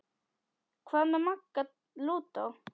Hvað með Magga lúdó?